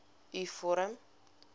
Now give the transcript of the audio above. u vorm